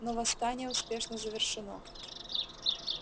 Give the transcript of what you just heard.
но восстание успешно завершено